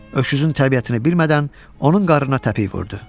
Öküzün təbiətini bilmədən onun qarnına təpik vurdu.